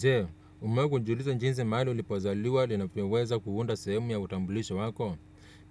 Je umewahi kujiuliza jinsi mahali ulipozaliwa linavyo weza kuunda sehemu ya utambulisho wako?